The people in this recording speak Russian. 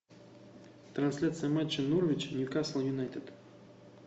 трансляция матча норвич ньюкасл юнайтед